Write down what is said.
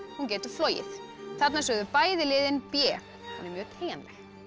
hún getur flogið þarna sögðu bæði liðin b hún er mjög teygjanleg